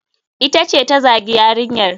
Ita ce ta zagi yarinyar.